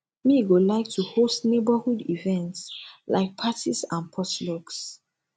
me go like to host neighborhood events like parties and potlucks